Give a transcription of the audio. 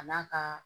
A n'a ka